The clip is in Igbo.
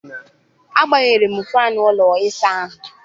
Agbanyere m faani ụlọ ịsa ahụ.